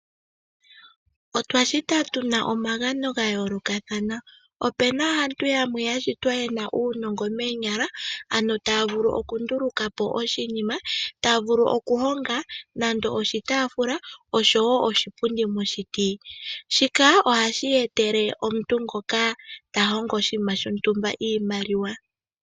Otwashitwa tuna omagano ga yoolokathana opena aantu yamwe ya shitwa yena uunongo moonyala ano taya vulu okundulukapo oshinima, tavulu okuhonga nande oshitafula oshowo oshipundi moshiti shika ohashi etele omuntu ngoka ta hongo oshiima shontumba iimaliwa.